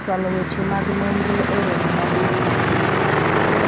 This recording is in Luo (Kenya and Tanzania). chwalo weche mag nonro e romo maduong' mar higa